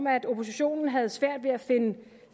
at oppositionen har svært ved at